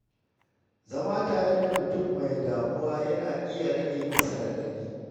Zama tare da mutum mai damuwa yana iya rage masa raɗaɗi.